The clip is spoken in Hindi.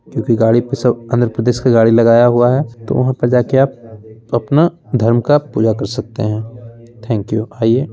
क्योंकि गाड़ी पे सब आंध्र-प्रदेश की गाड़ी लगाया हुआ है तो वहाँ पे जाके आप अपना धर्म का पूजा कर सकते है| थैंक यू आइये |